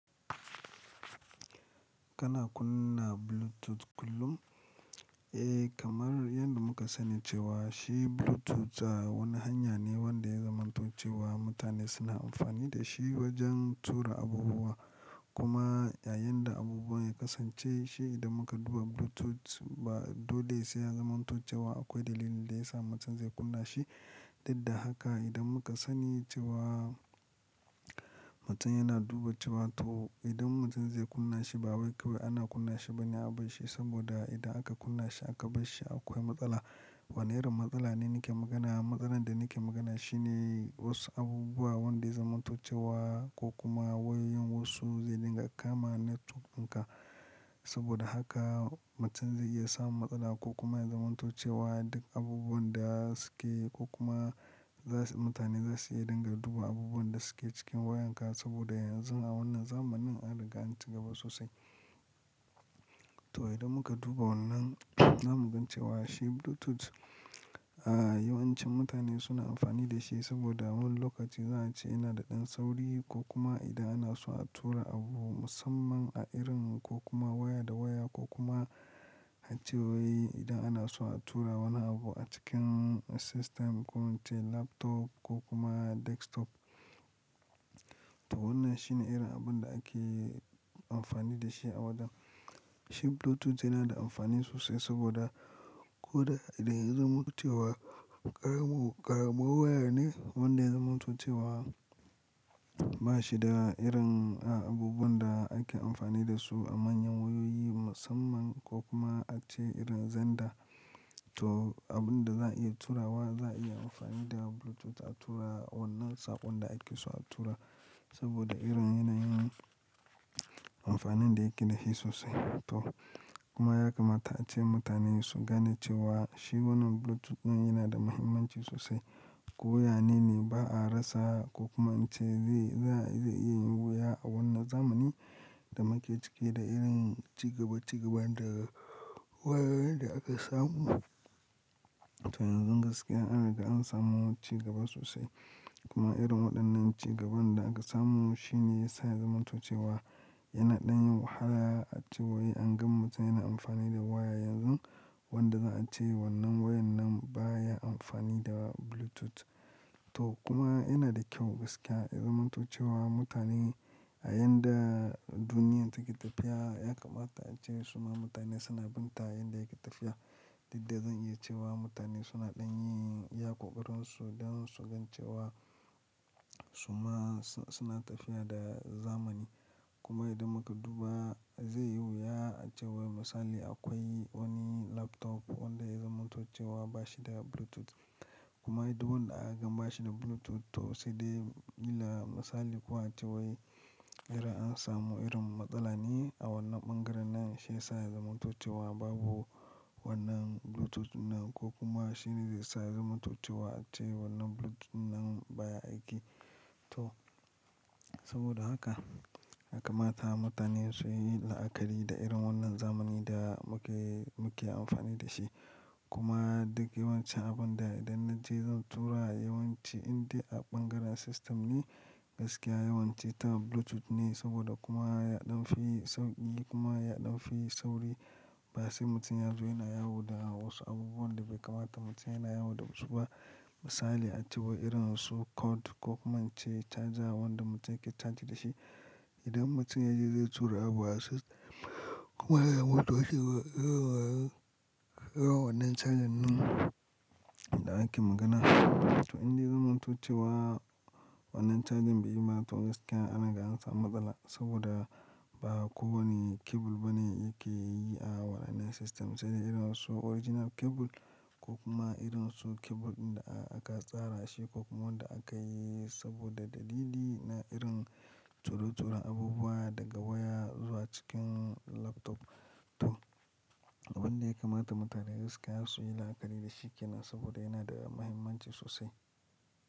Kana kunna Bluetooth kullum? Eh kamar yadda muka sani cewa shi Bluetooth wani hanya ne wanda ya zamanto ce wa mutane suna amfani da shi wajen tura abubuwa kuma yayin da abubuwan ya kasance shi idan muka duba Bluetooth ba dole sai ya zamanto ce wa akwai dalilin da yasa mutum zai kunna shi. Duk da haka idan muka sani cewa mutum yana duba cewa to idan mutum zai kunna shi ba wai kawai ana kunna shi ba ne abar shi saboda idan aka kunna shi aka bar shi akwai matsala. Wane irin matsala ne nake magana? Matsalar da nake magana shi ne wasu abubuwa wanda ya zamanto ce wa ko kuma wayoyin wasu zai dinga kama network ɗinka. Saboda haka mutum zai iya samun matsala ko kuma ya zamanto ce wa duk abubuwan da suke ko kuma za su mutane za su iya dinga duba abubuwan da suke cikin wayan ka saboda yanzu a wannan zamanin an riga an ci gaba sosai. To, idan muka duba wannan zamu gane cewa shi Bluetooth, a yawan cin mutane suna amfani da shi saboda a wani lokaci za a ce yana da ɗan sauri ko kuma idan ana so a tura abu musamman a irin ko kuma waya da waya ko kuma a cewai idan ana so a tura wani abu a cikin system ko muce laptop ko kuma desktop. To wannan shine irin abun da ake amfani da shi a wajan. Shi Bluetooth yana da amfani sosai saboda ko da idan ya zamanto ce wa, ƙaramun ƙaramun waya ne wanda ya zamanto ce wa ba shi da irin abubuwan da ake amfani da su a manyan wayoyi musamman ko kuma ace irin Zenda. To abun da za a iya turawa za a iya amfani da Bluetooth a tura wannan saƙon da ake so a tura saboda irin yana yin amfanin da yake da shi sosai. To kuma ya kamata ace mutane su gane cewa shi wannan Bluetooth ɗin yana da muhimmanci sosai. Ko yanene ba a rasa ko kuma ace zai, za, zai iya yin wuya a wannan zamanin da muke ciki da irin cigaba cigaba da wayoyin da aka samu. To yanzu gaskiya anaga an samu cigaba sosai kuma irin waɗannan cigaban da aka samu shine yasa ya zamantace wa yana ɗan yin wahala a cewai an gan mutum yana amfani da waya yanzu wanda za a ce wannan wayar nan baya amfani da Bluetooth. To kuma yana da kyau gaskiya ya zamanto ce wa mutane a yanda duniyar take tafiya ya kamata ace suma mutane suna bin ta yanda yake tafiya. Duk da zan iya cewa mutane suna ɗan yin iya ƙoƙarin su don su gane cewa suma su suna tafiya da zamani. Kuma idan muka duba zai yi wuya a cewa misali akwai wani laptop wanda ya zamanto ce wa ba shi da Bluetooth. Kuma idan wanda aka gan ba shi da Bluetooth to sai dai illa misali kuwa cewai irin an samu irin matsala ne a wannan bangaren nan shi ya sa ya zamantace wa babu wannan Bluetooth ɗin nan ko kuma shi ne zai sa ya zamanto ce wa ace wannan Bluetooth ɗin nan baya aiki. To saboda haka ya kamata mutane su yi la'akari da irin wannan zamanin da muke, muke amfani da shi. Kuma duk yawancin abun da idan na ce zan tura yawanci inda a bangaren system ne gaskiya yawanci ta Bluetooth ne saboda kuma ya ɗan fi sauƙi kuma ya ɗan fi sauri. Ba sai mutum yazo yana yawo da wasu abubuwan da bai kamata mutum yana yawo da su ba. Misali a cewa irin wasu cord ko kuma ace charger wanda mutum yake charge da shi. Idan mutum ya je zai tura abu a system kuma ya mutu ace wa, irawa, irawa wannan charger ɗin da ake magana. To indai ya zamanto ce wa wannan charger bai yi mata gaskiya an riga an samu matsala saboda ba kowane cable ba ne yake yi a wannan system. Sai dai irin wasu original cable ko kuma irin wasu cable ɗin da aka tsara shi ko kuma wanda aka yi saboda dalili na irin turo turon abubuwa daga waya zuwa cikin laptop. To abun da ya kamata mutane gaskiya su yi la'akari da shi ke nan saboda yana da muhimmanci sosai.